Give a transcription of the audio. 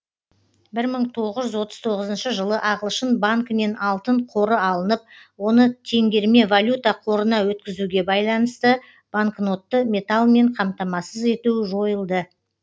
бір мың тоғыз жүз отыз тоғызыншы жылы ағылшын банкінен алтын қоры алынып оны теңгерме валюта қорына өткізуге байланысты банкнотты металлмен қамтамасыз ету жойылды